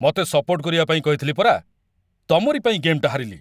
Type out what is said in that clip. ମତେ ସପୋର୍ଟ କରିବା ପାଇଁ କହିଥିଲି ପରା! ତମରି ପାଇଁ ଗେମ୍‌ଟା ହାରିଲି!